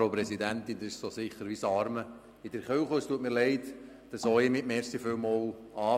Das ist so sicher wie das Amen in der Kirche, und es tut mir leid, dass auch ich mit «vielem Dank» beginne.